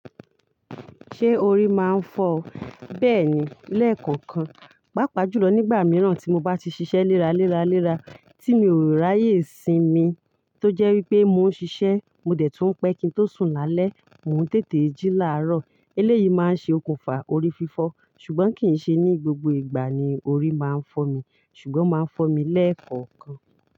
Ṣé orí máa ń fọ ọ? Bẹ́ẹ̀ni, lẹ́ẹ̀kọ̀kan. Pápá jùlọ nígbà mìíràn tí mo bá ti ṣiṣẹ́ léra léra léra, tí mi ò ráyè sinmi tó jẹ́ wípé mò ń ṣiṣẹ́, mo dẹ̀ tún pẹ́ kin tó sùn lálẹ́, mò ń tètè jí làárọ̀. Eléyìí máa ṣe okùnfà orí fífọ ṣùgbọ́n kì í ṣe ní gbogbo ìgbà ni orí máa ń fọ mi, ṣùgbọ́n máa ń fọ́ mi lẹ́ẹ̀kọ̀kan.